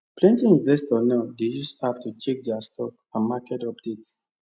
plenty investors now dey use app to check their stock and market updates